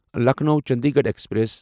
Lucknow Chandigarh express